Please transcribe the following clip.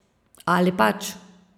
Ali pač?